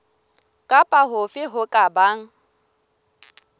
kapa hofe ho ka bang